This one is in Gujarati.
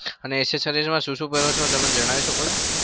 અને accessory માં શું શું પહેરો છો તમે મને જણાઈ શકો છો?